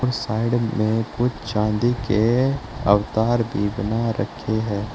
Side में कुछ चांदी के अवतार भी बना रखी है।